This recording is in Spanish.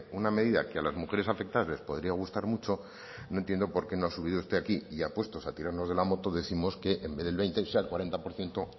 una medida que a las mujeres afectadas les podría gustar mucho no entiendo por qué no ha subido usted aquí y ya puestos a tirarnos de la moto décimos que en vez del veinte sea el cuarenta por ciento